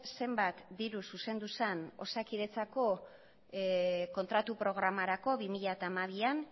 zenbat diru zuzendu zen osakidetzako kontratu programarako bi mila hamabian